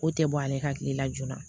Ko tɛ bɔ ale ka tile la joona